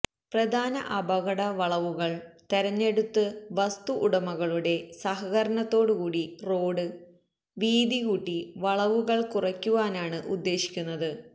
പ്രധാന അപകടവളവുകള് തെരഞ്ഞെടുത്ത് വസ്തു ഉടമകളുടെ സഹകരണത്തോടുകൂടി റോഡ് വീതികൂട്ടി വളവുകള് കുറയ്ക്കുവാനാണ് ഉദ്ദേശിക്കുന്നത്